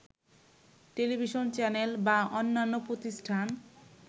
television channel বা অন্যান্য প্রতিষ্ঠান